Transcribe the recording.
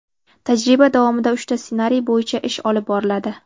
Tajriba davomida uchta ssenariy bo‘yicha ish olib boriladi.